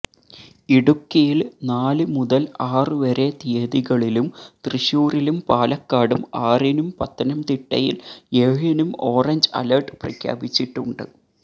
ഇടുക്കിയില് നാല് മുതല് ആറു വരെ തിയതികളിലും തൃശൂരിലും പാലക്കാടും ആറിനും പത്തനംതിട്ടയില് ഏഴിനും ഓറഞ്ച് അലര്ട്ട് പ്രഖ്യാപിച്ചിട്ടുണ്ട്